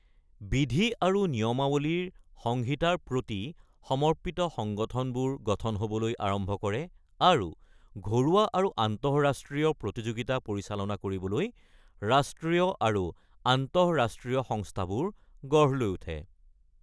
বিধি আৰু নিয়মাৱলীৰ সংহিতাৰ প্ৰতি সমৰ্পিত সংগঠনবোৰ গঠন হ'বলৈ আৰম্ভ কৰে আৰু ঘৰুৱা আৰু আন্তঃৰাষ্ট্ৰীয় প্ৰতিযোগিতা পৰিচালনা কৰিবলৈ ৰাষ্ট্ৰীয় আৰু আন্তঃৰাষ্ট্ৰীয় সংস্থাবোৰ গঢ় লৈ উঠে।